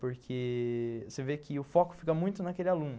Porque você vê que o foco fica muito naquele aluno.